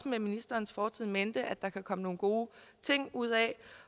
ministerens fortid i mente også at der kan komme nogle gode ting ud af